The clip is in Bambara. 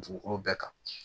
Dugukolo bɛɛ kan